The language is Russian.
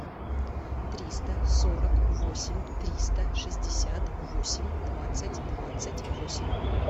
триста сорок восемь триста шестьдесят восемь двадцать двадцать восемь